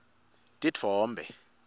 titfombe